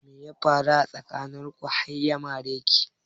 Me ya faru tsakanin ku har ya mare ki?